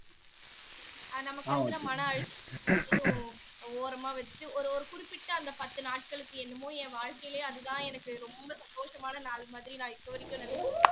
அது நமக்கு வந்து மன அழுத்தம் எல்லாத்தையும் ஓரமா வச்சிட்டு ஒரு ஒரு குறிப்பிட்ட அந்த பத்து நாட்களுக்கு என்னமோ என் வாழ்க்கையிலே அதுதான் எனக்கு ரொம்ப சந்தோஷமான நாள் மாதிரி நான் இப்ப வரைக்கும் நெனைச்சுட்டு இருக்கே